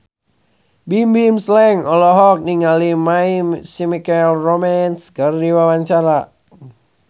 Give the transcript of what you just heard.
Bimbim Slank olohok ningali My Chemical Romance keur diwawancara